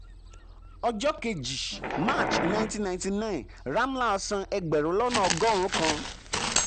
ọjọ́ 2 um march 1999 ramlal san ẹgbẹ̀rún lọ́nà ọgọ́rùn-ún kan.